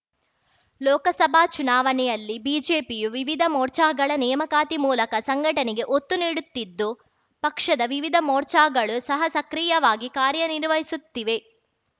ಲೋಕಸಭಾ ಚುನಾವಣೆಯಲ್ಲಿ ಬಿಜೆಪಿಯು ವಿವಿಧ ಮೋರ್ಚಾಗಳ ನೇಮಕಾತಿ ಮೂಲಕ ಸಂಘಟನೆಗೆ ಒತ್ತು ನೀಡುತ್ತಿದ್ದು ಪಕ್ಷದ ವಿವಿಧ ಮೋರ್ಚಾಗಳು ಸಹ ಸಕ್ರಿಯವಾಗಿ ಕಾರ್ಯನಿರ್ವಹಿಸುತ್ತಿವೆ